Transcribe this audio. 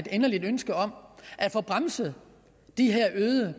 inderligt ønske om at få bremset de her